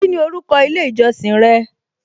Kíni orúkọ ilé ìjọsìn rẹ?